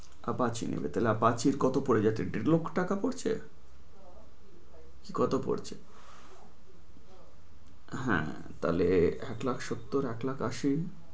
Apache নিবে তাহলে Apache কত পরছে, দেড় লক্ষ টাকা পরছে, কত পরছে, হ্যাঁ তালে এক লাখ সত্তর, এক লাখ আশি